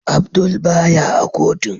Abdul baya a kotun.